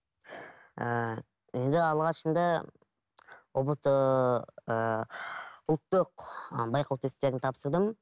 ііі енді алғашында ұбт ііі ұлттық ы байқау тестілерін тапсырдым